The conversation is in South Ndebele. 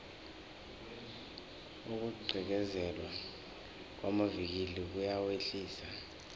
ukugqekezelwa kwamavikili kuyawehlisa